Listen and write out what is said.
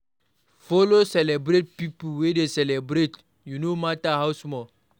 Follow celebrate pipo wey de celebrate u no matter how small